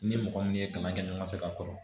Ni mɔgɔ min ye kalan kɛ ɲɔgɔn fɛ ka kɔrɔ